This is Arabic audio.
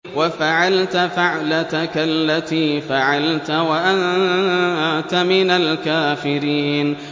وَفَعَلْتَ فَعْلَتَكَ الَّتِي فَعَلْتَ وَأَنتَ مِنَ الْكَافِرِينَ